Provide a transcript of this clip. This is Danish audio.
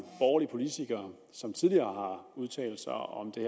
borgerlige politikere som tidligere udtalt sig om det